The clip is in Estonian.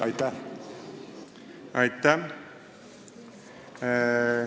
Aitäh!